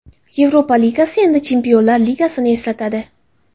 Yevropa Ligasi endi Chempionlar Ligasini eslatadi.